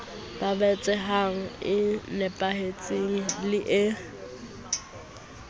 babatsehang e nepahetseng le e